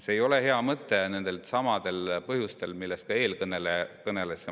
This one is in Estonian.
See ei ole hea mõte nendelsamadel põhjustel, millest ka eelkõneleja rääkis.